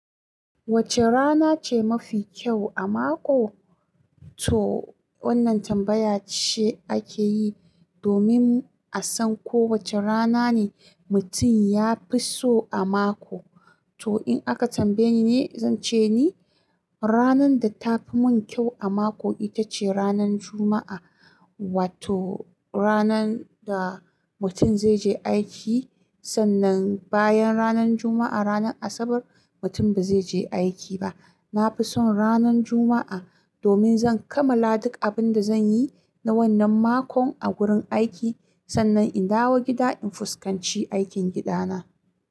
Wacce rana ce mafi kyau a mako? To wannan tambaya ce ake yi domin a san ko wacce rana ne mutum ya fi so a mako. To in aka tambaye ni ne, zan ce ni ranar da ta fi mun kyau a mako ita ce ranar Juma'a. Wato ranar da mutum zai je aiki sannan bayan ranar Juma'a, ranar Asabar mutum ba zai je aiki ba. Na fi son ranar Juma'a domin zan kammala duk abin da zan yi na wannan makon a gurin aiki sannan in dawo gida in fuskanci aikin gida na.